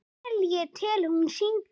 Vel ég tel hún syngi.